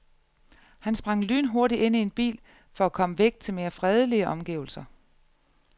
Han sprang lynhurtigt ind i en bil for at komme væk til mere fredelige omgivelser.